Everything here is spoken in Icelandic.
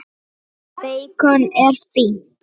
Beikon er fínt!